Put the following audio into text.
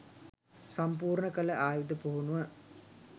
සම්පූර්ණ කළ ආයුධ පුහුණුව